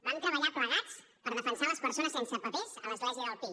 vam treballar plegats per defensar les persones sense papers a l’església del pi